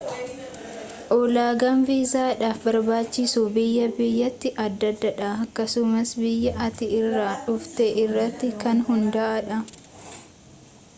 ulaagaan viizaadhaf barbaachisu biyyaa biyyatti adda addadha akkasumas biyya ati irraa dhufte irratti kan hunda'uu dha